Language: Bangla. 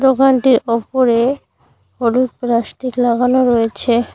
দোকানটির ওপরে হলুদ প্লাস্টিক লাগানো রয়েছে।